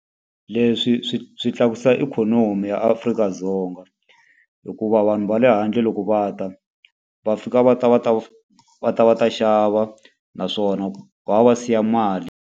Leswi swi swi tlakusa ikhonomi ya Afrika-Dzonga. Hikuva vanhu va le handle loko va ta, va fika va ta va ta va ta va ta xava, naswona va va va siya mali.